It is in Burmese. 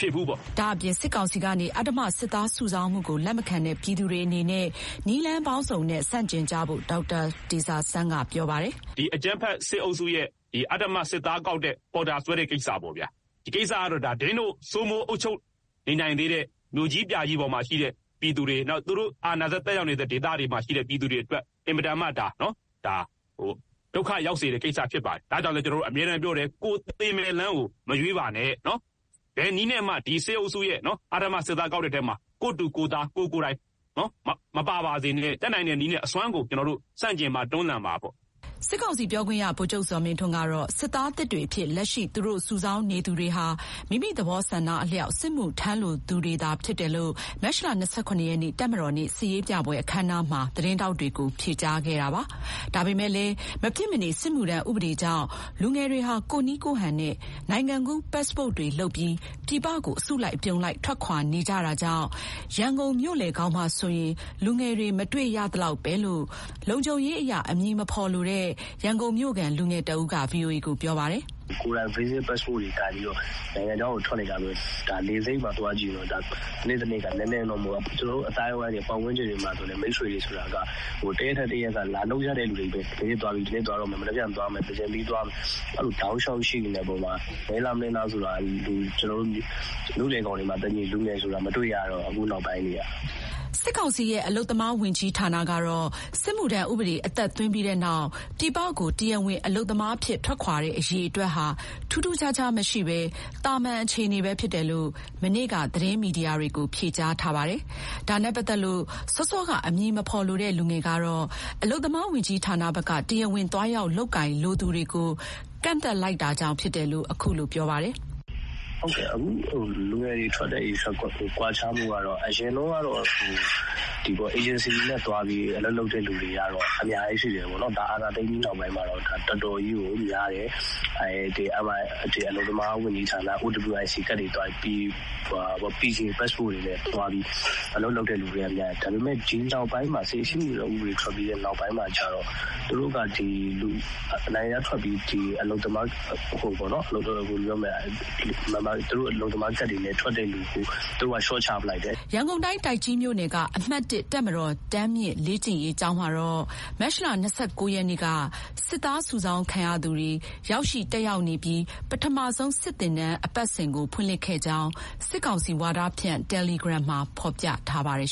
ဖြစ်ဘူးပေါ့။" ဒါ့အပြင် စစ်ကောင်စီကနေ အဓမ္မစစ်သားစုဆောင်းမှုကိုလက်မခံတဲ့ ပြည်သူတွေအနေနဲ့ နည်းလမ်းပေါင်းစုံနဲ့ ဆန့်ကျင်ကြဖို့ ဒေါက်တာတေဇာဆန်းက ပြောပါတယ်။ "ဒီအကြမ်းဖက်စစ်အုပ်စုရဲ့ အဓမ္မစစ်သားကောက်တဲ့၊ ပေါ်တာဆွဲတဲ့ကိစ္စပေါ့ဗျာ။ ကိစ္စကတော့ ဒင်းတို့ စိုးမိုးအုပ်ချုပ်နေနိုင်သေးတဲ့ မြို့ကြီးပြကြီးမှာရှိတဲ့သူတွေ၊ သူတို့အာဏာစက်သက်ရောက်နေတဲ့ဒေသတွေအတွက် အင်မတန်မှ ဒုက္ခရောက်စေတဲ့ကိစ္စဖြစ်ပါတယ်။ အဲဒါကြောင့်လည်း ကျနော်တို့အမြဲတမ်းပြောတယ်၊ 'ပိုသေမဲ့လမ်းကို မရွေးပါနဲ့' နော်၊ ဘယ်နည်းနဲ့မှ စစ်အုပ်စုရဲ့အဓမ္မစစ်သားကောက်တဲ့အထဲ ကိုယ့်တူ၊ ကိုယ့်သား၊ ကိုယ်ကိုယ်တိုင် မပါပါစေနဲ့။ တတ်နိုင်တဲ့နည်းနဲ့အစွမ်းကုန် ဆန့်ကျင်ပါ၊ တွန်းလှန်ပါ-ပေါ့။" စစ်ကောင်စီပြောခွင့်ရ ဗိုလ်ချုပ်ဇော်မင်းထွန်းကတော့ စစ်သားသစ်တွေအဖြစ် လက်ရှိသူတို့ စုဆောင်းနေသူတွေဟာ မိမိသဘောဆန္ဒအလျောက် စစ်မှုထမ်းလိုသူတွေသာဖြစ်တယ်လို့ မတ်လ ၂၇ ရက်နေ့ တပ်မတော်နေ့ စစ်ရေးပြပွဲအခမ်းအနားမှာ သတင်းထောက်တွေကို ဖြေကြားခဲ့တာပါ။ ဒါပေမဲ့လည်း မဖြစ်မနေ စစ်မှုထမ်းဥပဒေကြောင့် လူငယ်တွေဟာ ကိုယ့်နည်းကိုယ့်ဟန်နဲ့ နိုင်ငံကူးပတ်စ်ပို့တွေလုပ်ပြီး ပြည်ပကို အစုလိုက်အပြုံလိုက် ထွက်ခွာနေကြတာကြောင့် ရန်ကုန်မြို့လယ်ကောင်မှာဆိုရင် လူငယ်တွေ မတွေ့ရသလောက်ပဲလို့ လုံခြုံရေးအရ အမည်မဖေါ်လို့ ရန်ကုန်မြို့ခံ လူငယ်တဦးက ဗွီအိုအေကိုပြောပါတယ်။ "ကိုယ်တိုင် visit passport တွေကိုင်ပြီးတော့ နိုင်ငံခြားတွေကို ထွက်နေတာတွေ ရှိလာတယ်။ လေဆိပ်မှာသွားကြည့်တော့ တနေ့တနေ့တော့ နည်းနည်းနော်နော်မဟုတ်ဘူး။ ကျနော်တို့အသိုင်းအဝိုင်းတွေ၊ ပတ်ဝန်းကျင်တွေမှာဆိုလည်း မိတ်ဆွေတွေဆိုတဲ့တာက တရက်ထက်တရက်က လာလုပ်ရတဲ့သူတွေချည့်ပဲ။ ဘယ်ရက်သွားတော့မယ်၊ မနက်ဖြန်သွားမယ်၊ သင်္ကြန်ပြီးသွားမယ်-တောက်လျှောက်ရှိနေတဲ့အေပါ်မှာ နည်းလား မနည်းလားဆိုတာ မြို့လယ်ကောင်တွေမှာ လူငယ်ဆိုတာ မတွေ့တော့ဘူး အခုနောက်ပိုင်းတွေက.." စစ်ကောင်စီရဲ့ အလုပ်သမားဝန်ကြီးဌာနကတော့ စစ်မှုထမ်းဥပဒေအသက်သွင်းပြီးနောက် ပြည်ပကို တရားဝင်အလုပ်သမားအဖြစ် ထွက်ခွာတဲ့အရေအတွက်ဟာ ထူးထူးခြားခြားမရှိဘဲ သာမန်အခြေအနေပဲဖြစ်တယ်လို့ မနေ့က သတင်းမီဒီယာတွေကို ဖြေကြားထားပါတယ်။ ဒါနဲ့ ပတ်သက်လို့ စောစောက အမည်မဖေါ်လိုတဲ့ လူငယ်ကတော့ အလုပ်သမားဝန်ကြီးဌာနဘက်က တရားဝင်သွားရောက်လုပ်ကိုင်လိုသူတွေကို ကန့်သတ်လိုက်တာကြောင့် ဖြစ်တယ်လို့ အခုလိုပြောပါတယ်။ "ဟုတ်ကဲ့၊ အခု လူငယ်တွေထွက်တဲ့ကိစ္စ ကွာခြားမှုကတော့ အရင်တုန်းကတော့ အေဂျင်စီတွေနဲ့သွားပြီး အလုပ်လုပ်တဲ့လူတွေကတော့ အများကြီးရှိတာပေါ့။ အာဏာသိမ်းပြီးနောက်ပိုင်းမှာတော့ အများကြီးရှိတယ်ပေါ့နော်။ အာဏာသိမ်းပြီးနောက်ပိုင်းမှာတော့ တော်တော်ကြီးကိုများတယ်။ အလုပ်သမားဝန်ကြီးဌာန OWIC ကဒ်တွေပေး -..ပတ်စ်ပို့တွေနဲ့အလုပ်လုပ်တဲ့သူတွေလည်းများတယ်။ ဒါပေမဲ့ အခုနောက်ပိုင်း စစ်မှုထမ်းဥပဒေထွက်ပြီးတဲ့နောက်ပိုင်းမှာကျတော့ သူတို့က နိုင်ငံခြားထွက်ပြီး သူတို့အလုပ်သမားကဒ်တွေနဲ့ အလုပ်လုပ်တဲ့သူတွေကို သူတို့က လျှော့ချပလိုက်တယ်။" ရန်ကုန်တိုင်း၊ တိုက်ကြီးမြို့နယ်က အမှတ် တပ်မတော် တန်းမြင့်လေ့ကျင့်ရေးကျောင်းမှာတော့ ရက်က စစ်သားစုဆောင်းခံရသူတွေ ရောက်ရှိ တက်ရောက်နေပြီး ပထမဆုံး စစ်သင်တန်းအပတ်စဥ်ကို ဖွင့်လှစ်ခဲ့ကြောင်း စစ်ကောင်စီဝါဒဖြန့် တယ်လီဂရမ်မှာ ဖေါ်ပြထားပါတယ်